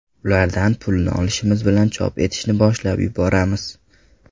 Ulardan pulni olishimiz bilan chop etishni boshlab yuboramiz.